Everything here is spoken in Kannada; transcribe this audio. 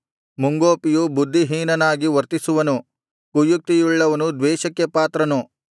ಮುಂಗೋಪಿಯು ಬುದ್ಧಿಹೀನನಾಗಿ ವರ್ತಿಸುವನು ಕುಯುಕ್ತಿಯುಳ್ಳವನು ದ್ವೇಷಕ್ಕೆ ಪಾತ್ರನು